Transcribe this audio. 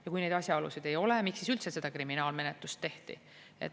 Ja kui neid asjaolusid ei ole, miks siis üldse seda kriminaalmenetlust tehti?